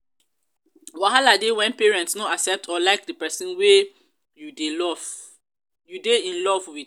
wahala de when parents no accept or like di persin wey you de lof wey u dey in love with